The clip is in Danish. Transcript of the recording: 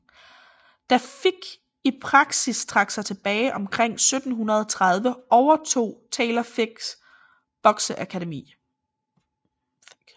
Da Figg i praksis trak sig tilbage omkring 1730 overtog Taylor Figgs bokseakademi